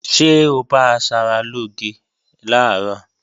Ṣé o bá asaralóge làárọ̀?